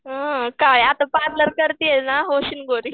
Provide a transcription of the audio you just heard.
हं काय आता पार्लर कारतीयेस ना होशील गोरी.